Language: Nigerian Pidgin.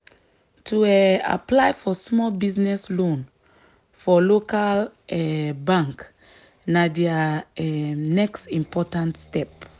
to um apply for small business loan for local um bank na dia um next important step.